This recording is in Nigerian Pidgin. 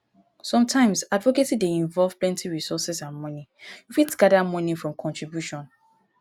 sometimes advocacy dey involve plenty resources and money you fit gather money from contribution